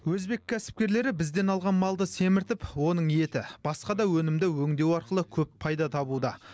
өзбек кәсіпкерлері бізден алған малды семіртіп оның еті басқа да өнімді өңдеу арқылы көп пайда табуда